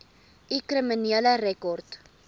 u kriminele rekord